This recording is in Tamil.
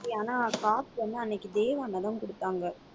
ஆனா காசு வந்து அன்னைக்கு தேவ் அண்ணா தான் குடுத்தாங்க